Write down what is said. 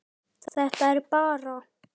Þetta er bara.